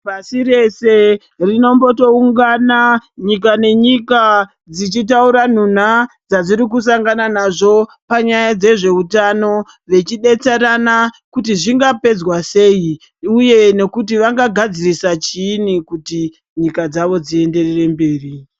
Pasi rese rinomboto ungana nyika nenyika dzichitaura nhuna dzazvirikusangana nazvo panyaya dzezveutano vechidetserana kuti zvingapedzwa seyi uye nekuti vangagadzirisa chini kuti nyika dzavo dzienderere mberi.